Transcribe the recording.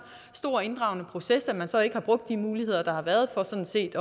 stor inddragende proces at man så ikke har brugt de muligheder der har været for sådan set